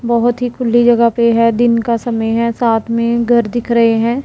बहुत ही खुल्ली जगह पे है दिन का समय है साथ में घर दिख रहे हैं।